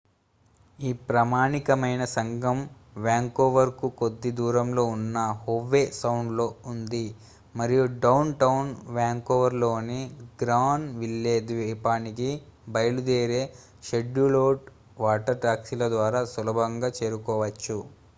ఈ ప్రామాణికమైన సంఘం వ్యాంకోవర్కు కొద్ది దూరంలో ఉన్న హోవే సౌండ్లో ఉంది మరియు డౌన్టౌన్ వ్యాంకోవర్లోని గ్రాన్విల్లే ద్వీపానికి బయలుదేరే షెడ్యూల్డ్ వాటర్ టాక్సీల ద్వారా సులభంగా చేరుకోవచ్చు